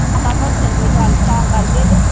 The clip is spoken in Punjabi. ਹਾਂ ਭੱਠੇ ਤੇ ਹੀ ਗੱਲ ਤਾਂ ਕਰਕੇ ਤੇ